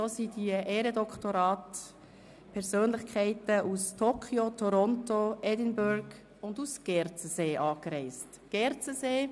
Für den Empfang der Ehrendoktorate reisten Persönlichkeiten aus Toronto, Edinburgh und Gerzensee an.